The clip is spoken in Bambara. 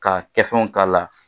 K'a kɛfɛnw k'a la